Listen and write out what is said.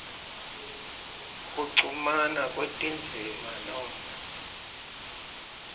kuchumana kwetindzima noma